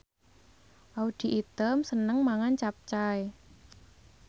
Audy Item seneng mangan capcay